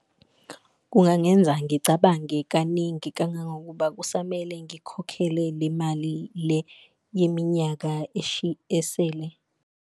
Kungangenza ngicabange kaningi kangangokuba kusamele ngikhokhele le mali le yeminyaka esele.